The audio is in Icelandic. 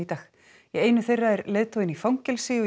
einu þeirra er leiðtoginn í fangelsi